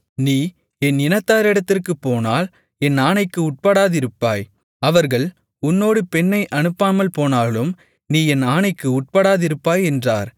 நீ என் இனத்தாரிடத்திற்குப்போனால் என் ஆணைக்கு உட்படாதிருப்பாய் அவர்கள் உன்னோடு பெண்ணை அனுப்பாமல்போனாலும் நீ என் ஆணைக்கு உட்படாதிருப்பாய் என்றார்